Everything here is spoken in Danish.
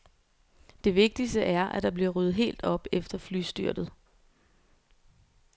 Det vigtigste er, at der bliver ryddet helt op efter flystyrtet.